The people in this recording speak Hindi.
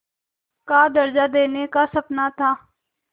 का दर्ज़ा देने का सपना था